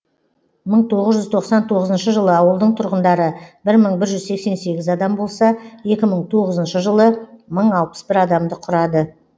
мың тоғыз жүз тоқсан тоғызыншы жылы ауылдың тұрғындары бір мың бір жүз сексен сегіз адам болса екі мың тоғызыншы жылы мың алпыс бір адамды құрады